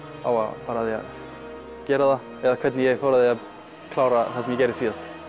á að fara að því að gera það eða hvernig ég fór að því að klára það sem gerði síðast